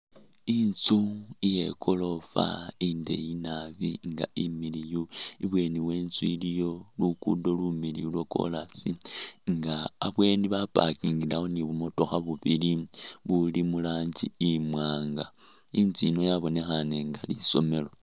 Inzu iye goroofa indeeyi naabi nga imiliyu, ibweni we inzu iliyo luguudo lumiliyu lwa kolaasi nga abweni ba’pakingilewo ne bumotookha bubili buli muranji imwanga, inzu iyi yabonekhaane nga lisomeelo.